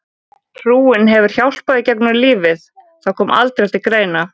Trúin hefur hjálpað í gegnum lífið Það kom aldrei til greina.